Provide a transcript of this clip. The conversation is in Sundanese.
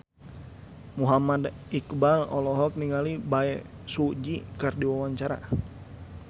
Muhammad Iqbal olohok ningali Bae Su Ji keur diwawancara